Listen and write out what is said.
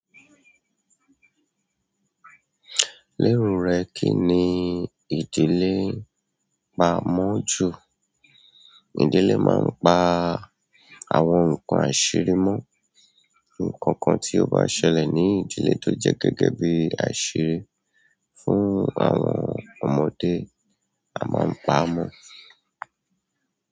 Lérù rẹ̀ kí ni ìdílé pa mọ́ ju? Ìdílé máa ń pa àwọn nǹkan àṣírí mọ́. Ǹkan kan tí ó bá ṣẹlẹ̀ ní ìdílé tó jẹ́ gẹ́gẹ́ bí àṣírí fún àwọn ọmọdé a máa ń pa a mọ́.